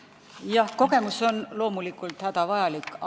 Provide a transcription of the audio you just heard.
Jah, kogemused on loomulikult hädavajalikud.